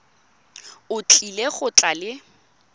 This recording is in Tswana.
o tlile go tla le